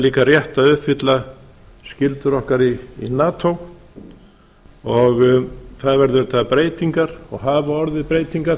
líka rétt að uppfylla skyldur okkar í nato og það verða auðvitað breytingar og hafa orðið breytingar